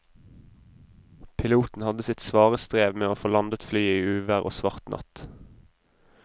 Piloten hadde sitt svare strev med å få landet flyet i uvær og svart natt.